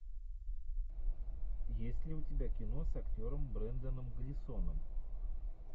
есть ли у тебя кино с актером бренданом глисоном